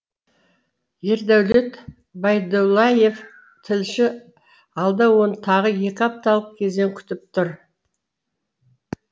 ердәулет байдуллаев тілші алда оны тағы екі апталық кезең күтіп тұр